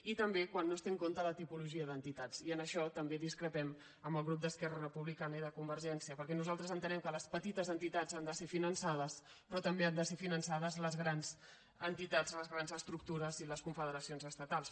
i també quan no es té en compte la ti·pologia d’entitats i en això també discrepem del grup d’esquerra republicana i de convergència perquè nosaltres entenem que les petites entitats han de ser fi·nançades però també han de ser finançades les grans entitats les grans estructures i les confederacions es·tatals